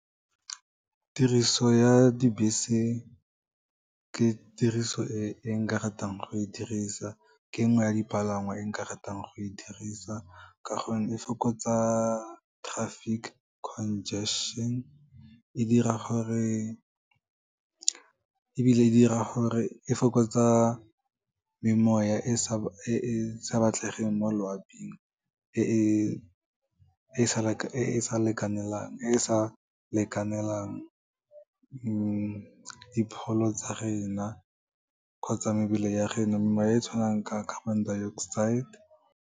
Tiriso ya dibese, ke tiriso e nka ratang go e dirisa, ke nngwe ya dipalangwa e nka ratang go e dirisa, ka gonne e fokotsa traffic congestion, e fokotsa memoya e e sa batlegeng mo loaping, e e sa lekanelang dipholo tsa rena kgotsa mebele ya rena, memoya e tswanang ka carbon dioxide.